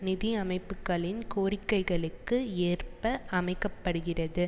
நிதி அமைப்புக்களின் கோரிக்கைகளுக்கு ஏற்ப அமைக்க படுகிறது